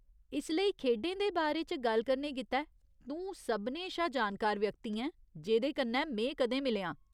इसलेई, खेढें दे बारे च गल्ल करने गित्तै, तूं सभनें शा जानकार व्यक्ति ऐं जेह्‌दे कन्नै में कदें मिलेआं।